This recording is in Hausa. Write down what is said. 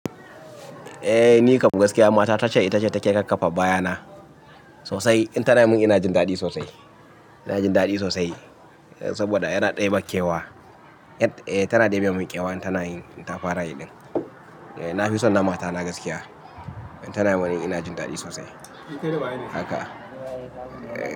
Eh ni kam gaskiya mata ta ce ita ce take kakkafa baya na sosai. Ina jin daɗi sosai, ina jin daɗi sosai saboda yana ɗebe kewa. Tana ɗebe min kewa in tana yin in tafara yi ɗin. Na fi son na mata na gaskiya in tana wani ina jin daɗi sosai haka.